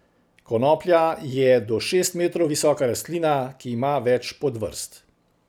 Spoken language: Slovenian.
Konoplja je do šest metrov visoka rastlina, ki ima več podvrst.